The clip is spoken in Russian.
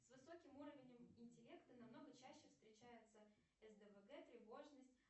с высоким уровнем интеллекта намного чаще встречается сдвг тревожность